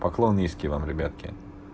поклон низкий вам ребятки